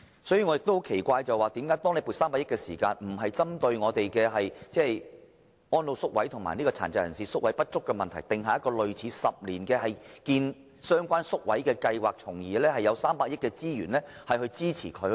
此外，我感到奇怪的是，為何政府在撥出300億元時，沒有針對安老宿位及殘疾人士宿位不足的問題，訂定類似興建相關宿位的10年計劃，並利用這300億元推行有關計劃？